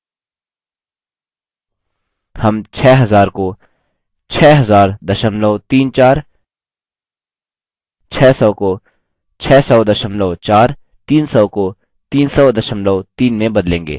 हम 6000 को 600034